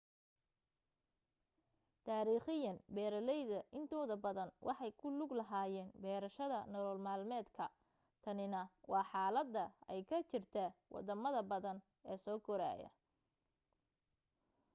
taariikhiyan beeraleyda intooda badan waxay ku lug lahaayeen beerashada nolol-maalmeedka tanina waa xaalada ay ka jirta wadamada badan ee soo korayaa